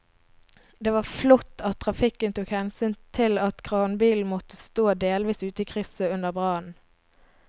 Det var flott at trafikken tok hensyn til at kranbilen måtte stå delvis ute i krysset under brannen.